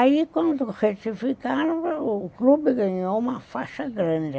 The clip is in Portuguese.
Aí, quando retificaram, o clube ganhou uma faixa grande.